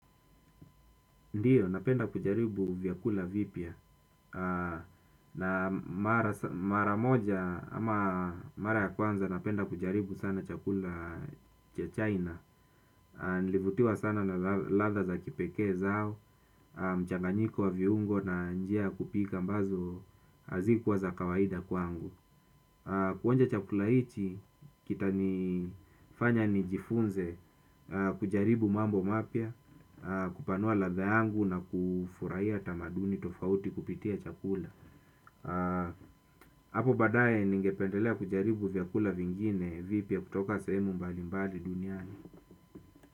Ndiyo, napenda kujaribu vyakula vipya. Na mara moja, ama mara ya kwanza napenda kujaribu sana chakula cha china. Nilivutiwa sana na ladha za kipekee zao, mchanganyiko wa viungo na njia ya kupika ambazo hazikuwa za kawaida kwangu. Kuonja chakula hichi kitanifanya nijifunze kujaribu mambo mapya kupanua ladha yangu na kufurahia tamaduni tofauti kupitia chakula hapo baadaye ningependelea kujaribu vyakula vingine vipya kutoka sehemu mbalimbali duniani.